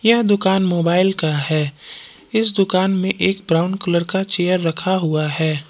यह दुकान मोबाइल का है इस दुकान में एक ब्राउन कलर का चेयर रखा हुआ है।